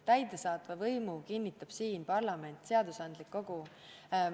Täidesaatva võimu kinnitab siin parlament, seadusandlik kogu.